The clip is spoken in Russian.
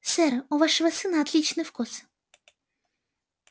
сэр у вашего сына отличный вкус